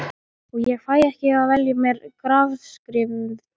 Og ég fæ ekki að velja mér grafskriftina.